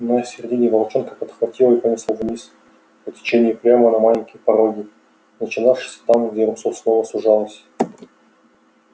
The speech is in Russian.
на середине волчонка подхватило и понесло вниз по течению прямо на маленькие пороги начинавшиеся там где русло снова сужалось